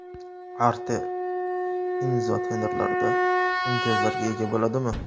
Artel, Imzo tenderlarda imtiyozlarga ega bo‘ladimi?